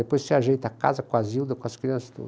Depois você ajeita a casa com a Zilda, com as crianças e tudo.